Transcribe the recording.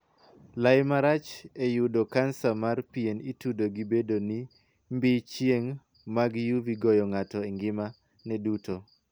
Lai marach e yudo kansa mar pien itudo gi bedo ni mbii chieng' mag UV goyo ng'ato engimane duto.